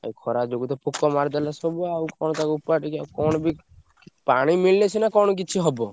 ଆଉ ଖରା ଯୋଗୁ ତ ପୋକ ମାରିଦେଲେ ସବୁ ଆଉ କଣ ତାକୁ ଓପାଡ଼ିକି ଆଉ କଣ ବି ପାଣି ମିଳିଲେ ସିନା କଣ କିଛି ହବ।